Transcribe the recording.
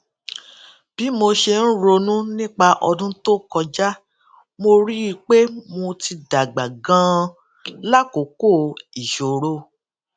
bí mo ṣe ń ronú nípa ọdún tó kọjá mo rí i pé mo ti dàgbà ganan lákòókò ìṣòro